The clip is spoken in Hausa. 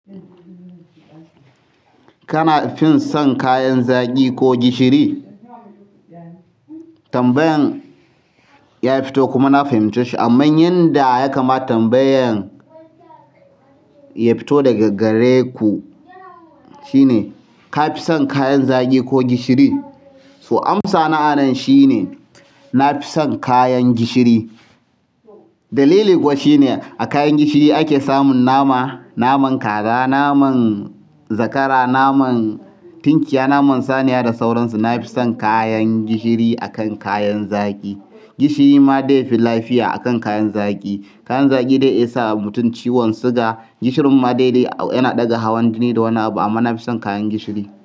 Kana fin son kayan zagi ko gishiri? Tambayan ya fito kuma na fahimce shi amman yanda yakama tambayan ya fito daga gare ku shine ka fi son kayan zagi ko gishiri? To amsa na a nan shine na fi son kayan gishiri. Dalili kuwa shine a kayan gishiri ake samun nama, naman kaza, naman zakara, naman tinkiya, naman saniya da sauransu. Na fi son kayan gishiri akan kayan zagi. Gishiri ma zai fi lafiya akan kayan zagi. Kayan zaƙi dai ya iya sa mutum ciwon siga. Gishirin ma daidai yana ɗaga hawan jini da wani abu amma na fi son kayan gishiri.